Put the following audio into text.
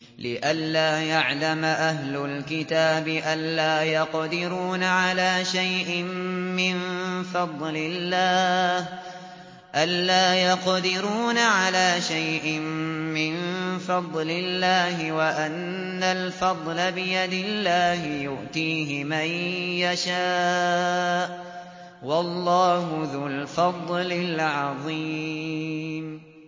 لِّئَلَّا يَعْلَمَ أَهْلُ الْكِتَابِ أَلَّا يَقْدِرُونَ عَلَىٰ شَيْءٍ مِّن فَضْلِ اللَّهِ ۙ وَأَنَّ الْفَضْلَ بِيَدِ اللَّهِ يُؤْتِيهِ مَن يَشَاءُ ۚ وَاللَّهُ ذُو الْفَضْلِ الْعَظِيمِ